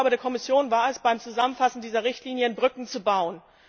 Die Aufgabe der Kommission war es, beim Zusammenfassen dieser Richtlinien Brücken zu bauen.